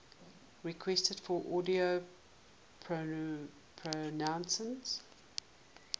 requests for audio pronunciation